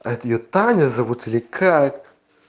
а это её таня зовут или как